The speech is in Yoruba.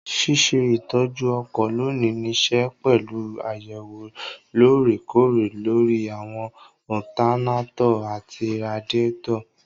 Ṣíṣe ìtọ́jú ọkọ̀ lónìí nííṣe pẹ̀lú àyẹ̀wò lóòrè kóòrè lóri àwọn ọtanátọ̀ àti radíàtọ̀